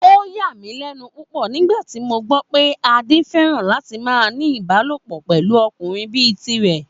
Ó yà mí lẹ́nu púpọ̀ nígbà tí mo gbọ́ pé Adé fẹ́ràn láti máa ní Ìbálòpọ̀ pẹ̀lú ọkùnrin bíi tirẹ̀